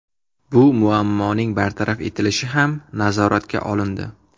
Bu muammoning bartaraf etilishi ham nazoratga olindi.